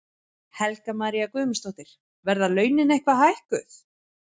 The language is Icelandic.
Helga María Guðmundsdóttir: Verða launin eitthvað hækkuð?